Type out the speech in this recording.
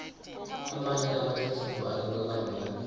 amanye amathuthumbo anuka kamnandi